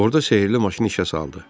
Orada sehirli maşın işə saldı.